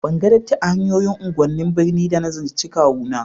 Ban ga datti a hanyoyin unguwannin birni ba da na ziyarce kawu na